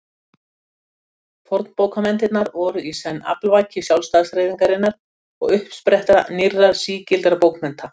Fornbókmenntirnar voru í senn aflvaki sjálfstæðishreyfingarinnar og uppspretta nýrra sígildra bókmennta.